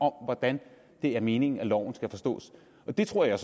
hvordan det er meningen loven skal forstås det tror jeg